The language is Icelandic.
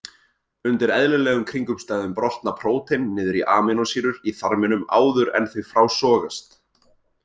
Undir eðlilegum kringumstæðum brotna prótein niður í amínósýrur í þarminum áður en þau frásogast.